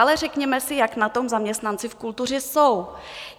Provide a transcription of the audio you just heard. Ale řekněme si, jak na tom zaměstnanci v kultuře jsou.